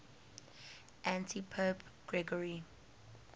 antipope gregory